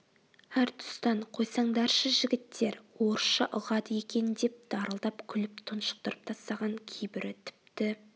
әр тұстан қойсаңдаршы жігіттер орысша ұғады екен деп дарылдап күліп тұншықтырып тастаған кейбірі тіпті